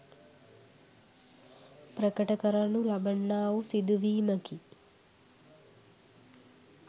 ප්‍රකට කරනු ලබන්නා වූ සිදුවීමකි.